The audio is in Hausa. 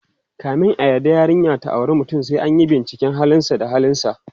kamin a yarda yarinya ta auri mutum, sai anyi binciken halin sa da ahlinsa